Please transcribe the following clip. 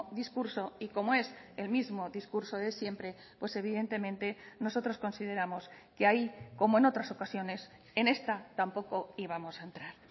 discurso y como es el mismo discurso de siempre pues evidentemente nosotros consideramos que ahí como en otras ocasiones en esta tampoco íbamos a entrar